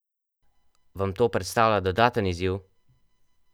Vam to predstavlja dodaten izziv?